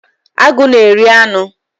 Agụ na-eri anụ